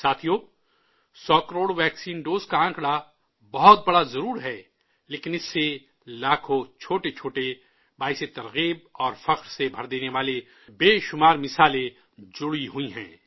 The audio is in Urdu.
ساتھیو، 100 کروڑ ویکسین ڈوز کا ڈیٹا بہت بڑا ضرور ہے، لیکن اس سے لاکھوں چھوٹے چھوٹے حوصلہ افزااور فخر سے پُر کر دینے والے متعدد تجربات، متعدد مثالیں جڑی ہوئی ہیں